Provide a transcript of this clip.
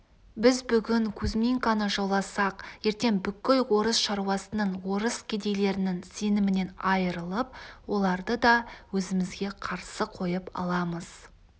біз бүгін кузьминканы жауласақ ертең бүкіл орыс шаруасының орыс кедейлерінің сенімінен айырылып оларды да өзімізге қарсы қойып аламыз